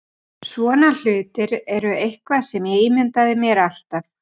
Svona hlutir eru eitthvað sem ég ímyndaði mér alltaf.